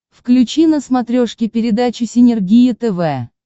включи на смотрешке передачу синергия тв